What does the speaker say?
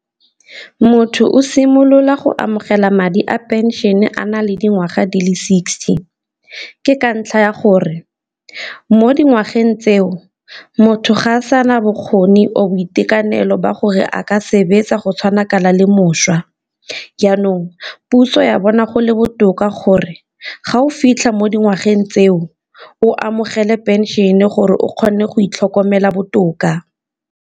Motho o simolola go amogela madi a pension-e a na le dingwaga di le sixty, ke ka ntlha ya gore mo dingwageng tseo motho ga a sana bokgoni or boitekanelo ba gore a ka sebetsa go tshwana kana le mošwa. Jaanong puso ya bona go le botoka gore ga o fitlha mo dingwageng tseo o amogele pension-e gore o kgone go itlhokomela botoka.